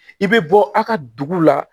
I bɛ bɔ a ka dugu la